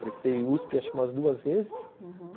Prestei us pê, acho que umas duas vezes, uhum.